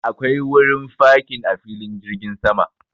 Akwai wurin fakin a filin jirgin sama.